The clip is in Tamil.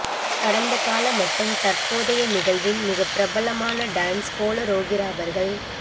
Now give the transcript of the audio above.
கடந்த கால மற்றும் தற்போதைய நிகழ்வின் மிக பிரபலமான டான்ஸ் கோளரோகிராபர்கள்